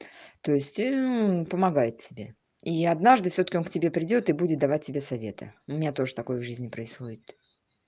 то есть он помогает себе и однажды всё-таки он к тебе придёт и будет давать тебе советы у меня тоже такой жизни происходит